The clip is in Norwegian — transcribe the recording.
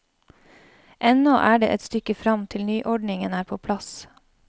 Ennå er det et stykke frem til nyordningen er på plass.